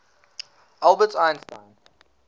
albert einstein